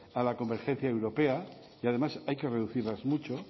a la convergencia europea y además hay que reducirlas mucho